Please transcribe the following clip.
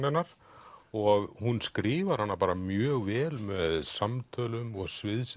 hennar og hún skrifar hana bara mjög vel með samtölum og